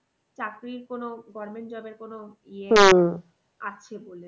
চাকরির কোনো government job এর কোনো আছে বলে।